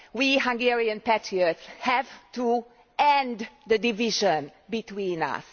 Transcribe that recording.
We Hungarian patriots have to end the division between us.